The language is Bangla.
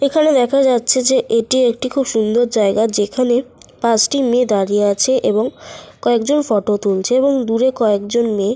দাঁড়িয়েই আছে শুধু। ওপরটা খুব সুন্দর একটি স্তম্ভের মতো করা আছে। সামনে একটি মেয়ে গেঞ্জি পরে চুলগুলো খোলা এবং জিন্স -এর প্যান্ট পরে আছে।